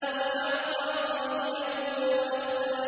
وَأَعْطَىٰ قَلِيلًا وَأَكْدَىٰ